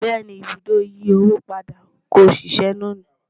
béèni, ibùdó ìyí owó padà kò ṣiṣe lóni